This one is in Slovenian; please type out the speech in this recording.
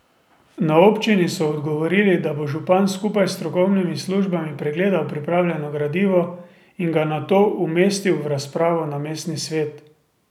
Na občini so odgovorili, da bo župan skupaj s strokovnimi službami pregledal pripravljeno gradivo in ga nato umestil v razpravo na mestni svet.